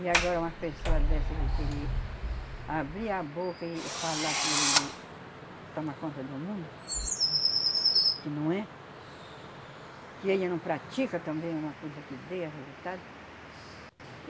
E agora umas pessoa dessa que querer abrir a boca e e falar que ele toma conta do mundo, que não é, que ele não pratica também uma coisa que dê a resultado.